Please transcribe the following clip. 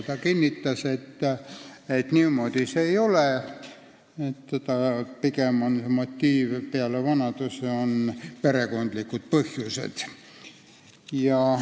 Ta kinnitas, et niimoodi see ei ole, pigem on peale vanuse tema motiiv perekondlikud põhjused.